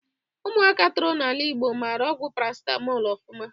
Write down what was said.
Ụmụaka toro n'ala Ịgbo mara ọgwụ parasitamọl ofụma